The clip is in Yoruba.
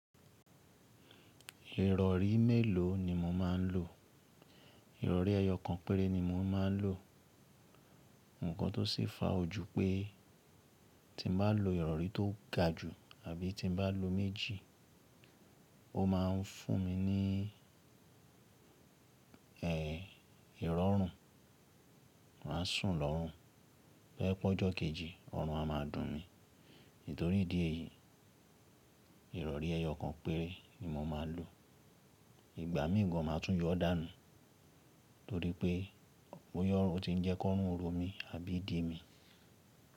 Ìrọ̀rí mélòó ni mo máa ń lò? Ìrọ̀rí ẹyọ kan péré ni mo máa ń lò. Ǹnkan tó ṣi fà o jú pé tí mo bá lo ìrọ̀rí tó ga jù àbí tí mo bá lo méjì, ó máa ń fún mi ní, ẹ, ìrọ́rùn. Màá sùn lọ́rùn. Tọ́ je pe ọjọ́ kejì, ọrùn a máa dùn mí. Nítorí ìdí èyí, ìrọ̀rí ẹyọ kan péré ni mo máa ń lò. Ìgbà míì gan máa tún yọ dánù torí pé bóya orun ọ ti ń jẹ́ kọ́rùn o ro mí àbí ìdí mi.